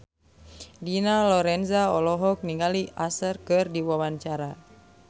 Dina Lorenza olohok ningali Usher keur diwawancara